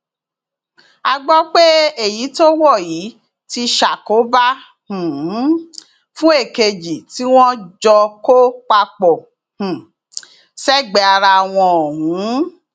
a gbọ pé èyí tó wọ yìí ti ṣàkóbá um fún èkejì tí wọn jọ kó papọ um sẹgbẹẹ ara wọn ọhún